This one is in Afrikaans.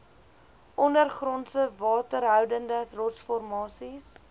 ondergrondse waterhoudende rotsformasies